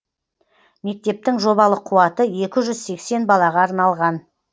мектептің жобалық қуаты екі жүз сексен балаға арналған